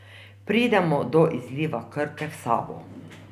Pridemo do izliva Krke v Savo.